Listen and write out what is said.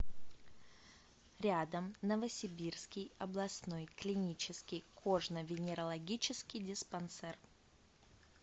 рядом новосибирский областной клинический кожно венерологический диспансер